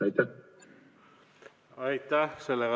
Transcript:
Aitäh!